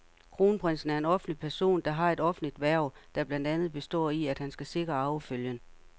Kronprinsen er en offentlig person, der har et offentligt hverv, der blandt andet består i, at han skal sikre arvefølgen.